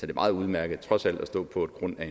det meget udmærket trods alt at stå på en grund af